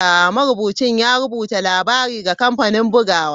Marubucin ya rubuta labarin ga kamfanin bugawa.